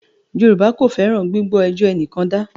Yorùbá kò fẹ́ràn “ gbígbọ́ ẹjọ́ ẹnìkan dá ”.